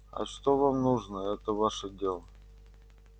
а что вам нужно это ваше дело